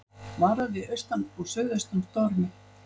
Varað við austan og suðaustan stormi